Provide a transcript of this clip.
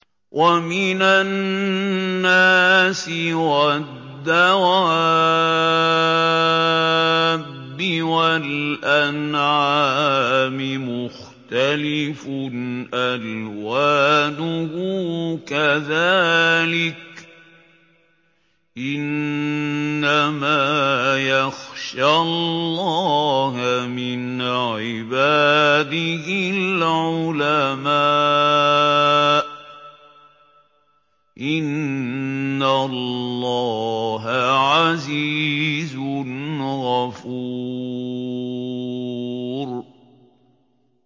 وَمِنَ النَّاسِ وَالدَّوَابِّ وَالْأَنْعَامِ مُخْتَلِفٌ أَلْوَانُهُ كَذَٰلِكَ ۗ إِنَّمَا يَخْشَى اللَّهَ مِنْ عِبَادِهِ الْعُلَمَاءُ ۗ إِنَّ اللَّهَ عَزِيزٌ غَفُورٌ